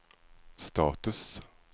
status